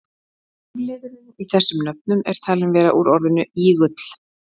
forliðurinn í þessum nöfnum er talinn vera úr orðinu ígull